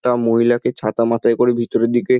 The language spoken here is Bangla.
একটা মহিলাকে ছাতা মাথায় করে ভিতরের দিকে --